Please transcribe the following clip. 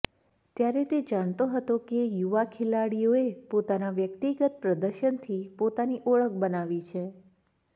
ત્યારે તે જાણતો હતો કે યુવા ખેલાડીઓએ પોતાના વ્યક્તિગત પ્રદર્શનથી પોતાની ઓળખ બનાવી છે